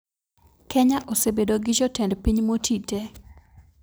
Kenya osebedo gi jotend piny motii tee